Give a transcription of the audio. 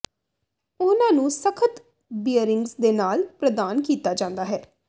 ਉਹਨਾਂ ਨੂੰ ਸਖਤ ਬੀਅਰਿੰਗਜ਼ ਦੇ ਨਾਲ ਪ੍ਰਦਾਨ ਕੀਤਾ ਜਾਂਦਾ ਹੈ